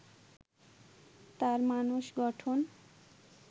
তার মানস গঠন